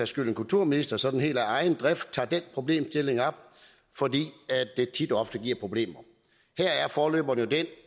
skyld en kulturminister sådan helt af egen drift tager den problemstilling op fordi det tit og ofte giver problemer her er forløberen jo den